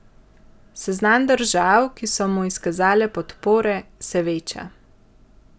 Seznam držav, ki so mu izkazale podpore, se veča.